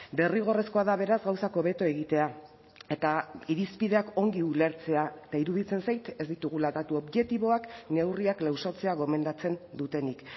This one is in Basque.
derrigorrezkoa da beraz gauzak hobeto egitea eta irizpideak ongi ulertzea eta iruditzen zait ez ditugula datu objektiboak neurriak lausotzea gomendatzen dutenik